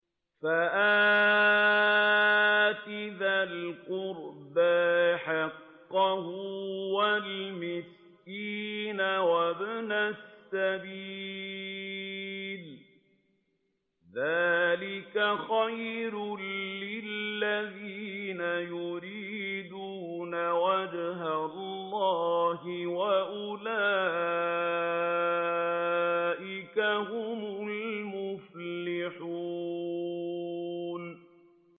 فَآتِ ذَا الْقُرْبَىٰ حَقَّهُ وَالْمِسْكِينَ وَابْنَ السَّبِيلِ ۚ ذَٰلِكَ خَيْرٌ لِّلَّذِينَ يُرِيدُونَ وَجْهَ اللَّهِ ۖ وَأُولَٰئِكَ هُمُ الْمُفْلِحُونَ